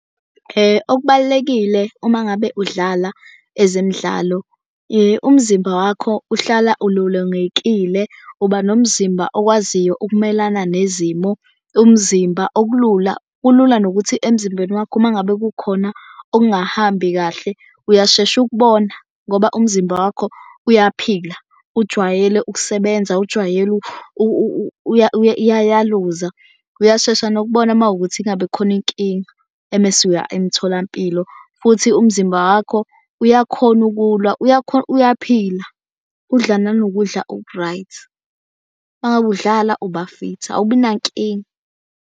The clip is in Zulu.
Okubalulekile uma ngabe udlala ezemidlalo umzimba wakho uhlala ulolongekile. Uba nomzimba okwaziyo ukumelana nezimo, umzimba okulula kulula nokuthi emzimbeni wakho uma ngabe kukhona okungahambi kahle uyashesha ukubona ngoba umzimba wakho uyaphila. Ujwayele ukusebenza ujwayele uyayaluza. Uyashesha nokubona makuwukuthi engabe khona inkinga emese uya emtholampilo. Futhi umzimba wakho uyakhona ukulwa uyaphila udla nanokudla oku-right. Uma ngabe udlala uba fithi, awubi nankinga